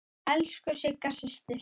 Elsku Sigga systir.